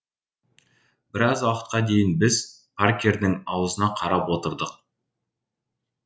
біраз уақытқа дейін біз паркердің аузына қарап отырдық